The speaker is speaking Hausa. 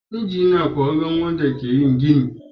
Injiniyoyin ƙwararru ne waɗanda ke yin gini.